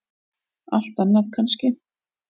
Allt annað kannski.